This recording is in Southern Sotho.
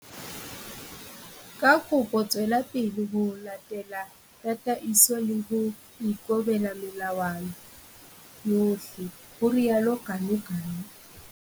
Ka kopo tswela pele ho latela tataiso le ho ikobela melawana yohle, ho rialo Ganuganu.